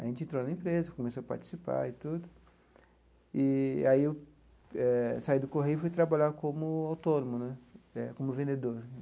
A gente entrou na empresa, começou a participar e tudo, e e aí eu eh saí do Correio e fui trabalhar como autônomo né, como vendedor.